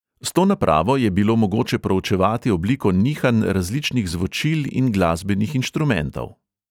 S to napravo je bilo mogoče proučevati obliko nihanj različnih zvočil in glasbenih inštrumentov.